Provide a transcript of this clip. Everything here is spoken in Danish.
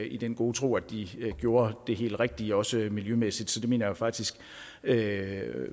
i den gode tro at de gjorde det helt rigtige også miljømæssigt så det mener jeg jo faktisk ikke